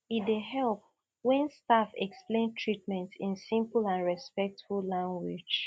e dey help when staff explain treatment in simple and respectful language